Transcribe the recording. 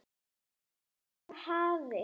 Það hafi ráðið úrslitum